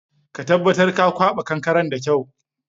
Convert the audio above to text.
Ka tabatar ka kwaɓa kankaren da kyau!